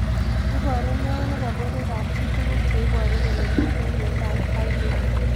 Iparu neo nepo porowek ap pich tuguk che iparu kole mito miandop Pillay